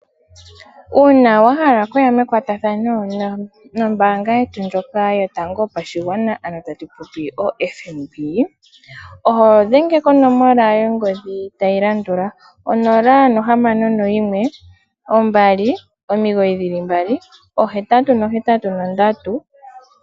Uuna wahala okuya mekwatathano nombanga ndjoka yotango oho dhenge konomala tayilandula 0612998883.